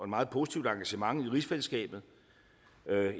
meget positivt engagement i rigsfællesskabet